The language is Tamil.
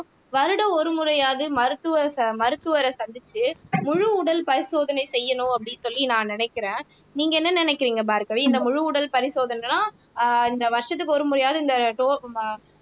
வருடம் ஒரு முறையாவது மருத்துவ ச மருத்துவரை சந்திச்சு முழு உடல் பரிசோதனை செய்யணும் அப்படின்னு சொல்லி நான் நினைக்கிறேன் நீங்க என்ன நினைக்கிறீங்க பார்கவி இந்த முழு உடல் பரிசோதனை எல்லாம் ஆஹ் இந்த வருஷத்துக்கு ஒரு முறையாவது இந்த